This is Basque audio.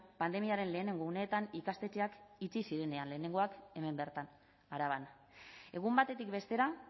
pandemiaren lehenengo uneetan ikastetxeak itxi zirenean lehenengoak hemen bertan araban egun batetik bestera